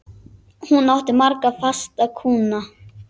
Hún átti marga fasta kúnna.